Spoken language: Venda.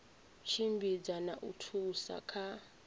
tshimbidza na u thusa kha